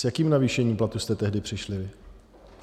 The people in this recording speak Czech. S jakým navýšením platů jste tehdy přišli?